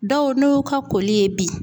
Dɔw n'o y'u ka koli ye bi